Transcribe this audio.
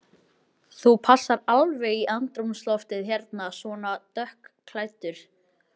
Þú passar alveg í andrúmsloftið hérna, svona dökkklæddur.